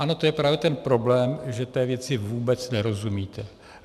Ano, to je právě ten problém, že té věci vůbec nerozumíte.